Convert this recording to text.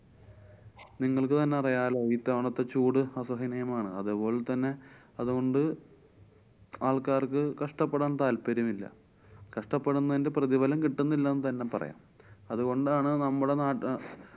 നിങ്ങള്‍ക്ക് തന്നെ അറിയാലോ ഇത്തവണത്തെ ചൂട് അസഹനീയമാണ്. അതുപോലെ തന്നെ അതൊണ്ട് ആള്‍ക്കാര്‍ക്ക് കഷ്ട്ടപ്പെടാന്‍ താല്‍പര്യം ഇല്ല. കഷ്ട്ടപ്പെടുന്നതിന്‍ടെ പ്രതിഫലം കിട്ടുന്നില്ല എന്നുതന്നെ പറയാം. അതുകൊണ്ടാണ് നമ്മടെ നാട്ട~